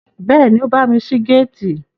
Bẹ́ẹ̀ni, ó bámi ṣí géètì